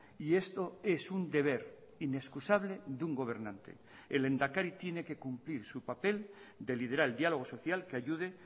y esto es un deber inexcusable de un gobernante el lehendakari tiene que cumplir su papel de liderar el diálogo social que ayude